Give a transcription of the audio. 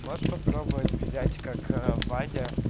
можешь попробовать взять как в воде